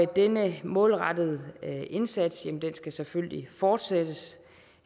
denne målrettede indsats skal selvfølgelig fortsættes